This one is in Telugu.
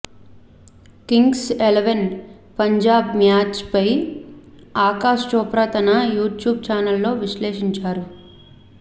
కింగ్స్ ఎలెవన్ పంజాబ్ మ్యాచ్పై ఆకాశ్ చోప్రా తన యూట్యూబ్ ఛానల్లో విశ్లేషించాడు